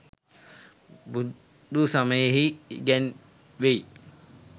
බුදු සමයෙහි ඉගැන්වෙයි.